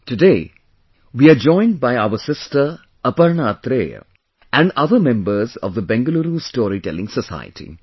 Today, we are joined by our sister Aparna Athare and other members of the Bengaluru Storytelling Society